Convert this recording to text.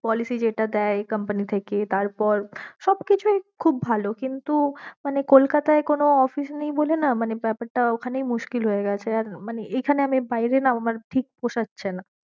policy যেটা দেয় company থেকে তারপর সব কিছুই খুব ভালো কিন্তু মানে কলকাতায় কোনো office নেই বলে না মানে ব্যাপারটা ওখানেই মুশকিল হয়ে গেছে আর মানে এইখানে আমি বাইরে না আমার ঠিক পোশাচ্ছে না।